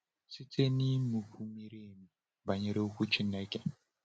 Site n’ịmụkwu miri emi banyere Okwu Chineke.